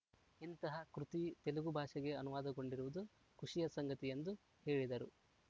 ಇಂತಹ ಕೃತಿ ತೆಲುಗು ಭಾಷೆಗೆ ಅನುವಾದಗೊಂಡಿರುವುದು ಖುಷಿಯ ಸಂಗತಿ ಎಂದು ಹೇಳಿದರು